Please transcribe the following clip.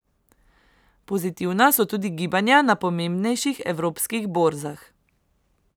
Pozitivna so tudi gibanja na pomembnejših evropskih borzah.